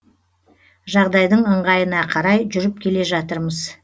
жағдайдың ыңғайына қарай жүріп келе жатырмыз